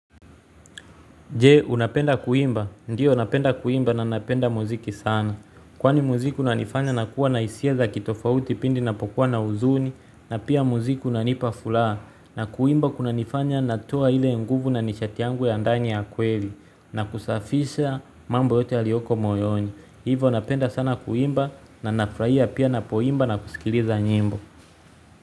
Je, unapenda kuimba. Ndiyo napenda kuimba na napenda muziki sana. Kwani muziki unanifanya nakuwa na hisia za kitofauti pindi napokuwa na uzuni na pia muziki unanipa furaha. Na kuimba kuna nifanya natoa ile nguvu na nishati yangu ya ndani ya kweli na kusafisha mambo yote yalioko moyoni. Hivo napenda sana kuimba na nafurahia pia napoimba na kusikiliza nyimbo.